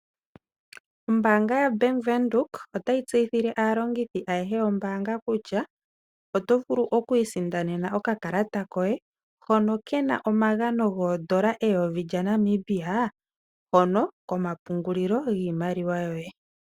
Ombanga yaVenduka otayi tseyithile aalongithi ayeshe yombanga kutya oto vulu okwiisindanena okakalata koye hono kena omagano gondoola eyovi lyaNamibia hono komapungulilo giimaliwa yoye.